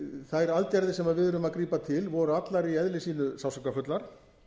þær aðgerðir sem við urðum að grípa til voru allar í eðli sínu sársaukafullar